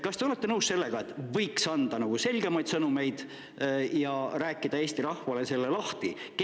Kas te olete nõus sellega, et võiks anda selgemaid sõnumeid ja Eesti rahvale selle lahti rääkida?